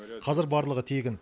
қазір барлығы тегін